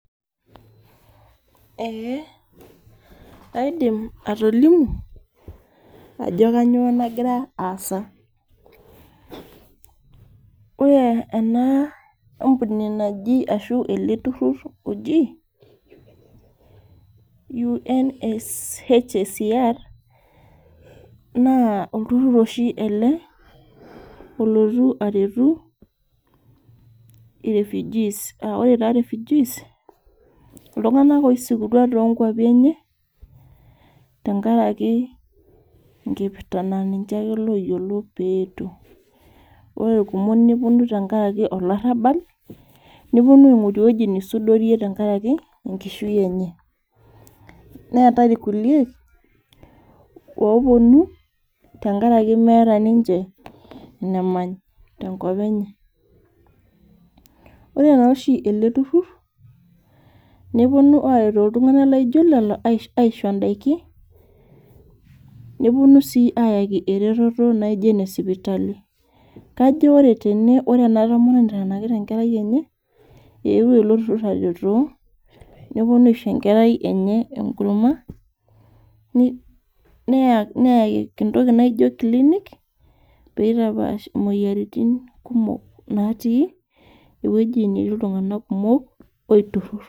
Eeh aidim atolimu ajo kanyio nagira aasa ore ena ampuni naji ashu ele turrur oji UNHCR naa olturrur oshi ele olotu aretu irefujis aore taa refugees iltung'anak oisikutua tonkuapi enye tenkaraki enkipirta naa ninche ake loyiolo peetuo ore irkumok neponu tenkarake olarrabal neponu aing'oru ewueji nisudorie tenkaraki enkishui enye neetae irkulie oponu tenkarake meeta ninche enemay tenkop enye ore naa oshi ele turrur neponu aretoo iltung'anak laijo lelo aisho indaiki neponu sii ayaki ereteto naijo ene sipitali kajo ore tene ore ena tomononi naitanikita enkerai enye eewuo ilo turrur aretoo neponu aisho enkerai enye enkurma ni neya neya entoki naijio clinic peitapash imoyiaritin kumok natii ewueji netii iltung'nak kumok oiturruro.